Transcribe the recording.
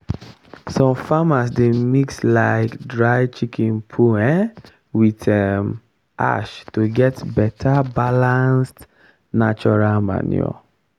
some farmers dey mix um dry chicken poo um with um ash to get better balanced natural manure.